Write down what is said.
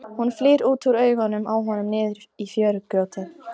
Hún flýr út úr augunum á honum niður í fjörugrjótið.